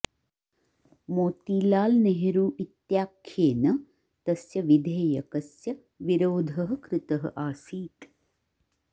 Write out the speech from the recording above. मोतीलाल नेहरु इत्याख्येन तस्य विधेयकस्य विरोधः कृतः आसीत्